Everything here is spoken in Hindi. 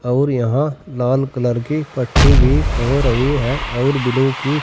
और यहां लाल कलर की पट्टी भी हो रही हैं और बिलु की--